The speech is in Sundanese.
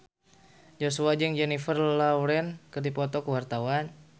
Joshua jeung Jennifer Lawrence keur dipoto ku wartawan